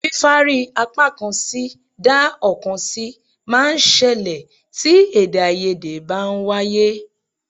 Fífárí apákan sí dá ọ̀kan sí máa ń ṣẹlẹ̀ tí èdèàìyedè bá ń wáyé